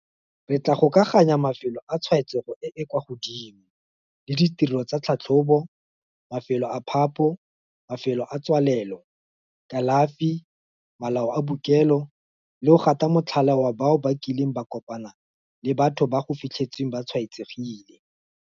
Re tla gokaganya mafelo a tshwaetsego e e kwa godimo le ditirelo tsa tlhatlhobo, mafelo a phapho, mafelo a tswalelo, kalafi, malao a bookelo le go gata motlhala bao ba kileng ba kopana le batho bao go fitlhetsweng ba tshwaetsegile.